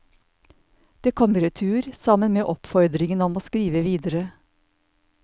Det kom i retur, sammen med oppfordringen om å skrive videre.